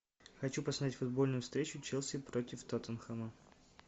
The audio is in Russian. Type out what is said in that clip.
хочу посмотреть футбольную встречу челси против тоттенхэма